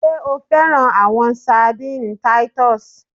Ṣe o fẹran awọn sardines Titus?